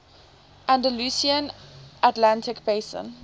andalusian atlantic basin